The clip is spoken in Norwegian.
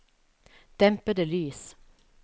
dempede lys